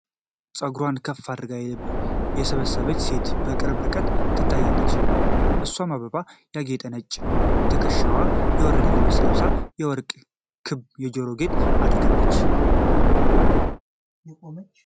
ፀጉሯን ከፍ አድርጋ የሰበሰበች ሴት በቅርብ ርቀት ትታያለች። እሷም በአበባ ያጌጠ ነጭ ከትከሻዋ የወረደ ልብስ ለብሳ፣ የወርቅ ክብ የጆሮ ጌጥ አድርጋለች።